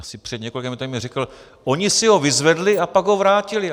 Asi před několika minutami řekl "oni si ho vyzvedli a pak ho vrátili".